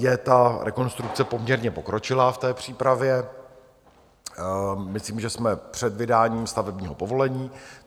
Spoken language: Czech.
Je ta rekonstrukce poměrně pokročilá v té přípravě, myslím, že jsme před vydáním stavebního povolení.